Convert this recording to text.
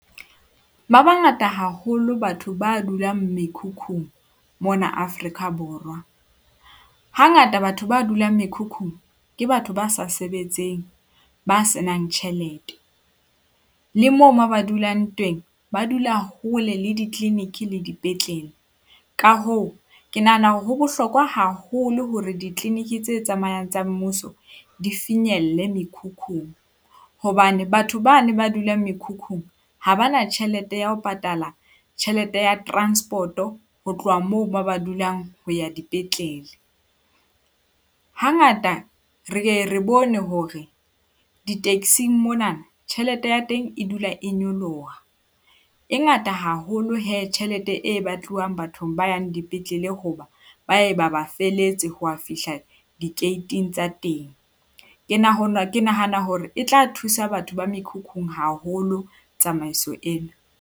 Ba bangata haholo batho ba dulang mekhukhung mona Afrika Borwa. Hangata batho ba dulang mekhukhung ke batho ba sa sebetseng, ba senang tjhelete. Le moo mo ba dulang teng, ba dula hole le di-clinic le dipetlele. Ka hoo, ke nahana hore ho bohlokwa haholo hore di-clinic tse tsamayang tsa mmuso di finyelle mekhukhung. Hobane batho bane ba dulang mekhukhung ha ba na tjhelete ya ho patala tjhelete ya transport-o ho tloha moo ba ba dulang ho ya dipetlele. Hangata re ye re bone hore di-taxing mona tjhelete ya teng e dula e nyoloha. E ngata haholo hee tjhelete e batluwang bathong ba yang dipetlele hoba ba ye ba ba feletse ho ya fihla di-gate-ng tsa teng. Ke ke nahana hore e tla thusa batho ba mekhukhung haholo tsamaiso ena.